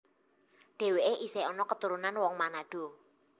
Dhèwèké isih ana keturunan wong Manado